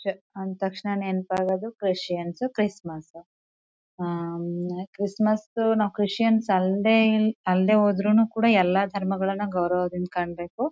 ಚ ಅಂದು ತಕ್ಷಣ ನೆನಪು ಆಗೋದು ಕ್ರಿಸ್ಟಿಯನ್ಸ್ ಕ್ರಿಸ್ಮಸ್ ಕ್ರಿಸ್ಮಸ್ ದು ನಾವು ಕ್ರಿಸ್ಟಿಯಾನ್ಸ್ ಅಲ್ದೆ ಅಲ್ದೆ ಹೋದ್ರುನು ಎಲ್ಲ ಧರ್ಮಗಳ್ನ ಗೌರವದಿಂದ ಕಾಣ್ಬೇಕು.